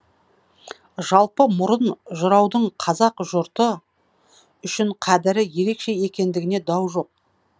жалпы мұрын жыраудың қазақ жұрты үшін қадірі ерекше екендігінде дау жоқ